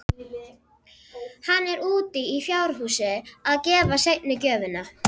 Hann er úti í fjárhúsi að gefa seinni gjöfina.